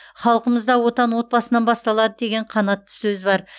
халқымызда отан отбасынан басталады деген қанатты сөз бар